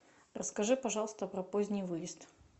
расскажи пожалуйста про поздний выезд